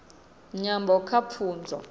nyambo kha pfunzo